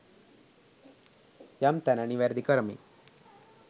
යම් තැන නිවැරදි කරමින්